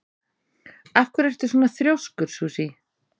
Af hverju ertu svona þrjóskur, Susie?